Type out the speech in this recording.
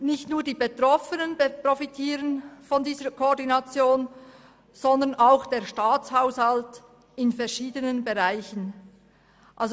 Nicht nur die Betroffenen profitieren von dieser Koordination, sondern auch verschiedene Bereiche des Staatshaushalts.